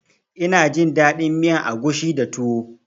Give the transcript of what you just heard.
Ina jin daɗin miyan agushi da tuwo